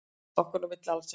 Okkar á milli alls ekki.